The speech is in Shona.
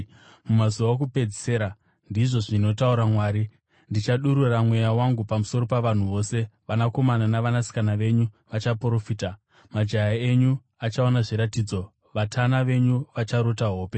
“ ‘Mumazuva okupedzisira,’ ndizvo zvinotaura Mwari, ‘ndichadurura Mweya wangu pamusoro pavanhu vose. Vanakomana navanasikana venyu vachaprofita, majaya enyu achaona zviratidzo, vatana venyu vacharota hope.